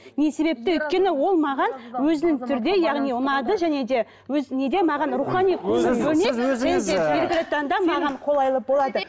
не себепті өйткені ол маған өзінің түрде яғни ұнады және де өз неде маған рухани белгілі таңда маған қолайлы болады